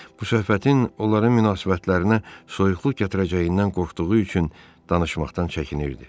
Bu söhbətin onların münasibətlərinə soyuqluq gətirəcəyindən qorxduğu üçün danışmaqdan çəkinirdi.